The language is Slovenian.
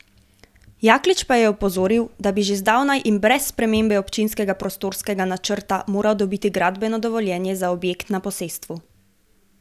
Jaklič pa je opozoril, da bi že zdavnaj in brez spremembe občinskega prostorskega načrta moral dobiti gradbeno dovoljenje za objekt na posestvu.